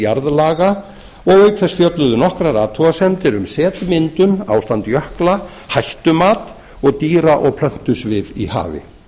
og auk þess fjölluðu nokkrar athugasemdir um setvindur ástand jökla hættumat og dýra og plöntusvif í hafi